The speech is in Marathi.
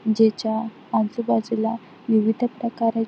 जेच्या आजूबाजूला विविध प्रकारे --